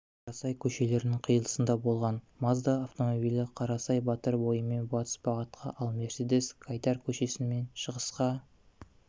қарасай көшелерінің қиылысында болған мазда автомобилі қарасай батыр бойымен батыс бағытқа ал мерседес гайдар көшесіменшығысқа